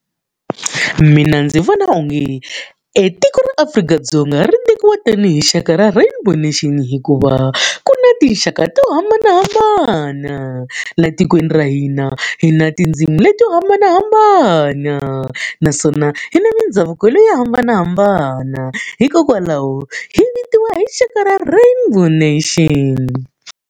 Mina ndzi vona onge etiko ra Afrika-Dzonga ri tekiwa tanihi rixaka ra rainbow nation hikuva, ku na tinxaka to hambanahambana. Laha tikweni ra hina, hi na tindzimi leti yo hambanahambana, naswona hi na mindhavuko yo hambanahambana. Hikokwalaho hi vitiwa hi rixaka ra rainbow nation.